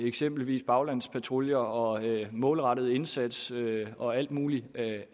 eksempelvis baglandspatruljer og en målrettet indsats og alt muligt